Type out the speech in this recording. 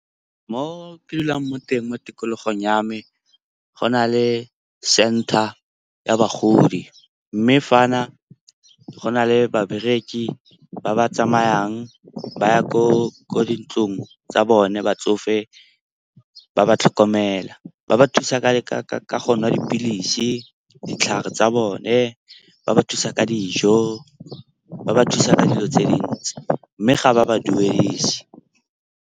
Mo ke dulang mo teng mo tikologong ya me go na le center ya bagodi. Mme fa na go na le babereki ba ba tsamayang ba ya ko di ntlong tsa bone batsofe ba ba tlhokomela. Ba ba thusa ka go nwa dipilisi, ditlhare tsa bone, ba ba thusa ka dijo ba ba thusa ka dilo tse dintsi. Mme ga ba ba duedise.